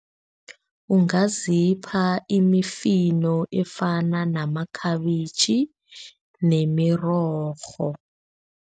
Ungazipha imifino efana namakhabitjhi nemirorho.